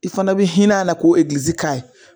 I fana bi hin'a la k'o egiliizi k'a ye